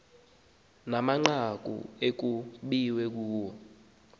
namanqaku ekukbiwe kuwo